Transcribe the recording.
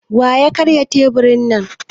Wa ya karya teburi na?